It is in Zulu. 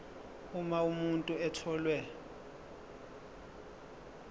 uma umuntu etholwe